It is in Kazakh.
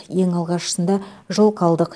ең алғашысында жылқы алдық